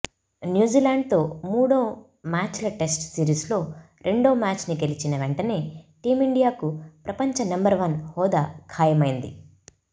న్యూజిలాండ్తో మూడు మ్యాచ్ల టెస్టు సిరీస్లో రెండో మ్యాచ్ని గెలిచిన వెంటనే టీమిండియాకు ప్రపంచ నంబర్ వన్ హోదా ఖాయమైంది